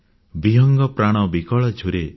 ବିହଙ୍ଗ ପ୍ରାଣ ବିକଳେ ଝୁରେ